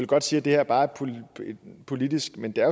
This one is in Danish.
godt sige at det her bare er politisk men det er